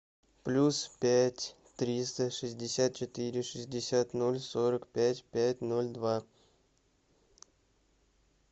плюс пять триста шестьдесят четыре шестьдесят ноль сорок пять пять ноль два